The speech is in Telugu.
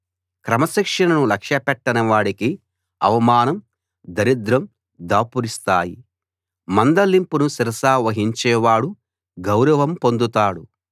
క్రమశిక్షణను లక్ష్యపెట్టని వాడికి అవమానం దరిద్రం దాపురిస్తాయి మందలింపును శిరసావహించేవాడు గౌరవం పొందుతాడు